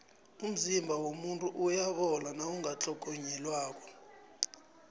umzimba womuntu uyabola nawungatlhogonyelwako